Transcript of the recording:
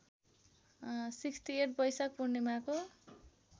६८ बैशाख पूर्णिमाको